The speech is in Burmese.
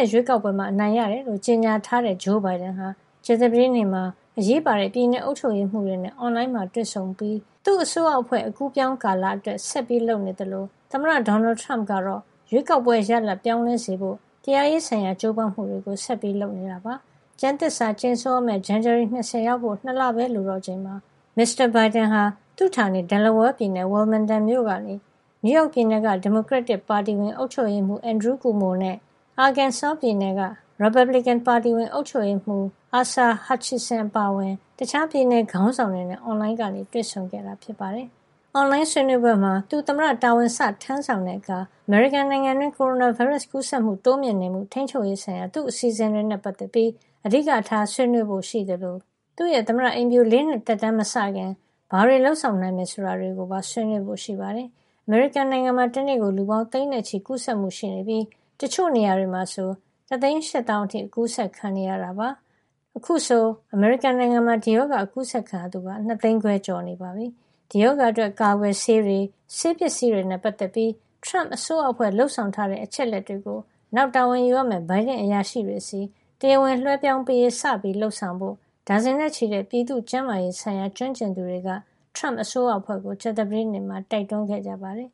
က် ရွေးကောက်ပွဲမှာ အနိုင်ရတယ်လို့ ကြေညာထားတဲ့ ဂျိုးဘိုင်ဒန်ဟာ ကြာသပတေးနေ့မှာ အရေးပါတဲ့ ပြည်နယ်အုပ်ချုပ်ရေးမှူးတွေနဲ့ အွန်လိုင်းတွေ့ဆုံမှုတွေလုပ်ပြီး သူ့အစိုးရ အဖွဲ့ အကူးအပြောင်းကာလ အတွက် ဆက်လက်လုပ်နေသလို သမ္မတဒေါ်နယ်ထရမ့်ကတော့ ရွေးကောက်ပွဲရလဒ် ပြောင်းလဲစေဖို့ တရားရေးဆိုင်ရာ ကြိုးပမ်းမှုတွေ ဆက်လုပ်ဆောင်နေတာပါ။ ကျမ်းသစ္စာ ကြိမ်ဆိုရမယ့် ဇန်နဝါရီလ ၂၀ ရောက်ဖို့ ၂ လ ပဲ လိုတော့တဲ့ အချိန်မှာ မစ္စတာဘိုင်ဒန်က သူ့ဌာနေ Delaware ပြည်နယ် Wilmington မြို့ကနေ နယူးရောက်ပြည်နယ်က ဒီမိုကရက်တစ် ပါတီဝင် အုပ်ချုပ်ရေးမှုး Andrew Cuomo နဲ့ Arkansas ပြည်နယ်က ရီပတ်ဘလစ်ကင် ပါတီဝင် အုပ်ချုပ်ရေးမှူး Asa Hutchinson အပါအဝင် တခြားပြည်နယ် ခေါင်းဆောင်တွေနဲ့ အွန်လိုင်းကနေ တွေ့ဆုံခဲ့ပါတယ်။ အွန်လိုင်းဆွေးနွေးပွဲမှာ သူသမ္မတတာဝန် စတင်ထမ်းဆောင်တဲ့အခါ အမေရိကန်နိုင်ငံတွင်း ကိုရိုနာဗိုင်းရပ်စ် ကူးစက်မှုတိုးမြင့်နေမှု ထိန်းချုပ်ရေး ဆိုင်ရာ သူ့အစီအစဉ်တွေနဲ့ပတ်သက်ပြီး အဓိကထားဆွေးနွေးဖို့ ရှိသလို သူ့ရဲ့ သမ္မတအိမ်ဖြူ ၄ နှစ်သက်တမ်း မစခင် ဘာတွေ လုပ်ဆောင်နိုင်မယ် ဆိုတာတွေကိုပါ ဆွေးနွေးဖို့ ရှိပါတယ်။ အမေရိကန်နိုင်ငံမှာ တနေ့ကို လူပေါင်း သိန်းနဲ့ ချီကူးစက်မှု ရှိနေပြီး တချို့နေ့တွေမှာ ဆို ၁၈၀,၀၀၀ အထိ အကူးစက်ခံနေရတာပါ။ အခုဆို အမေရိကန်နိုင်ငံမှာ ဒီရောဂါ အကူးစက်ခံရသူက ၂ သိန်းခွဲကျော်နေပြီ ဖြစ်ပါတယ်။ ဒီရောဂါအတွက် ကာကွယ်ဆေးတွေ၊ ဆေးပစ္စည်းတွေနဲ့ပတ်သက်ပြီး ထရမ့်အစိုးရအဖွဲ့ လုပ်ဆောင်ထားတဲ့ အချက်အလက်တွေကို နောက်တာဝန်ယူရမယ့် ဘိုင်ဒန့်အရာရှိတွေဆီ တရားဝင် လွဲပြောင်းပေးရေး စတင်လုပ်ဆောင်ဖို့ ဒါဇင်နဲ့ချီတဲ့ ပြည်သူ့ကျန်းမာရေးဆိုင်ရာ ကျွမ်းကျင်သူ တွေက ထရမ့်အစိုးရအဖွဲ့ကို ကြာသပတေးနေ့မှာ တိုက်တွန်းခဲ့ကြပါတယ်